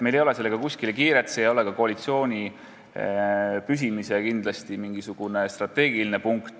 Meil ei ole sellega kuskile kiiret ja see ei ole ka koalitsiooni püsimise seisukohalt kindlasti mingisugune strateegiline punkt.